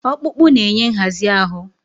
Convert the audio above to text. Ọkpụkpụ na-enye nhazi ahụ.